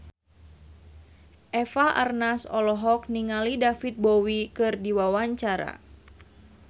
Eva Arnaz olohok ningali David Bowie keur diwawancara